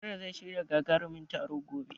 Nura zai shirya gagarumin taro gobe.